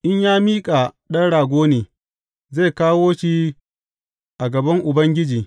In ya miƙa ɗan rago ne, zai kawo shi a gaban Ubangiji.